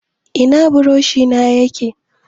Ina buroshi na yake?